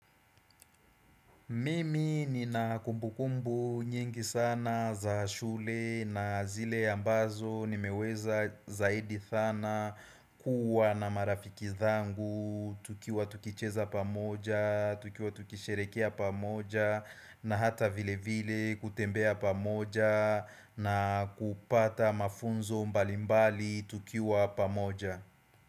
Mimi nina kumbukumbu nyingi sana za shule na zile ambazo nimeweza zaidi sana kuwa na marafiki zangu tukiwa tukicheza pamoja, tukiwa tukisherehekea pamoja na hata vilevile kutembea pamoja na kupata mafunzo mbalimbali tukiwa pamoja.